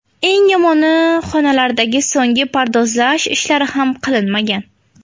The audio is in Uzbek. Eng yomoni, xonalardagi so‘nggi pardozlash ishlari ham qilinmagan.